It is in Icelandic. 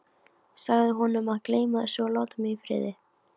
Sagði honum að gleyma þessu og láta mig í friði.